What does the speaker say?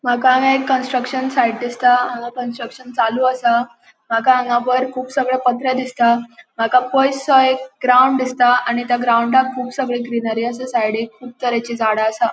मका हांगा एक कन्स्ट्रक्शन साइट दिसता हांगा कन्स्ट्रक्शन चालू असा मका हांगा वयर कुब सगळे पत्रे दिसता मका पोइससो ग्राउन्ड दिसता आणि त्या ग्राऊंडानं कुब सगळे ग्रीनरी असा सायडिक कुब तरेची झाड़ा असा.